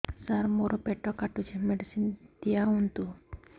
ସାର ମୋର ପେଟ କାଟୁଚି ମେଡିସିନ ଦିଆଉନ୍ତୁ